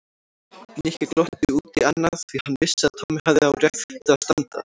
Nikki glotti út í annað því hann vissi að Tommi hafði á réttu að standa.